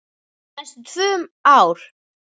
Næstum tvö ár!